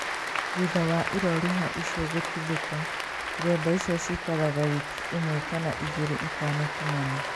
Thutha wa iroruha icio gũtuthũka, ĩronda icio cikara wiki ĩmwe kana igĩrĩ itanatumana